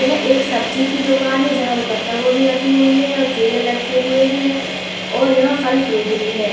यह एक सब्जी की दुकान है जहाँ पे पत्तागोभी रखी हुइ है और केलें लटके हुए हैं और यहाँ फल फ्रूट भी हैं।